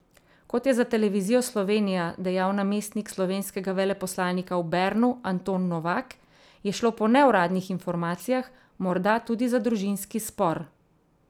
Kot je za Televizijo Slovenija dejal namestnik slovenskega veleposlanika v Bernu Anton Novak, je šlo po neuradnih informacijah morda tudi za družinski spor.